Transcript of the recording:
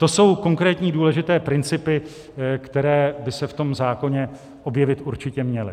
To jsou konkrétní důležité principy, které by se v tom zákoně objevit určitě měly.